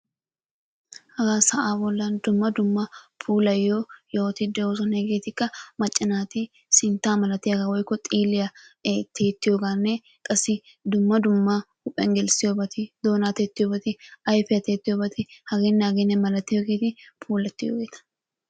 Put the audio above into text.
Haga sa'aa bollan dumma dumma puulayyiyo yohoti doosona. Hegetikka macca naati sinttaa malatiyaaga woykko xiilliya tiyyetiyoogaanne qassi dumma dumma huuphiyaan gelissiyoobati, doona tiyyetiyoobati, ayfiyaa tiyyetiyoobati, hagenne hageenne malatiyoobati puulatiyoogeeta.